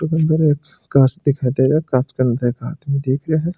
एक काच दिखाई दे रहा है काच के अंदर एक आदमी दिख रो है।